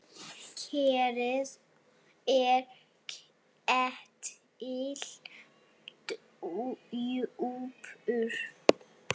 Kerið er ketill djúpur.